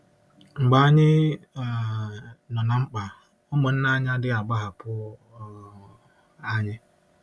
Mgbe anyị um nọ ná mkpa, ụmụnna anyị adịghị agbahapụ um anyị.